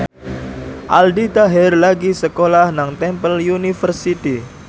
Aldi Taher lagi sekolah nang Temple University